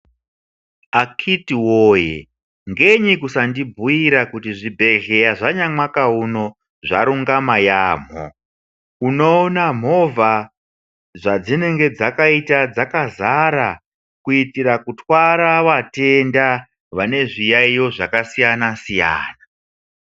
Aliti woye ngenyi kusandimbuyira kuzvibhedhlera zvanyakamwa uno zvarungama yamho unoona mhovha dzazvine ge dzakaita dzakazara kuitira kutwara vatenda vane zviyaiyo zvakasiyana siyana.